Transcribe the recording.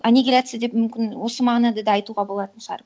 аннигиляция деп мүмкін осы мағынада да айтуға болатын шығар